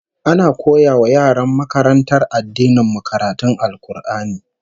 Ana koya wa yaran makarantar addinin mu karatun Al-Qur'ani